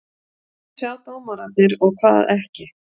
Hvað sjá dómararnir og hvað ekki?